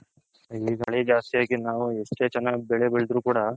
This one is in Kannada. ಈಗ ಮಳೆ ಜಾಸ್ತಿ ಆಗಿ ಎಷ್ಟೇ ಚೆನ್ನಃ ಬೆಳೆ ಬೆಳದ್ರು ಕೂಡ